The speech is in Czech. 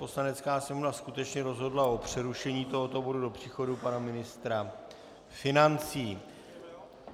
Poslanecká sněmovna skutečně rozhodla o přerušení tohoto bodu do příchodu pana ministra financí.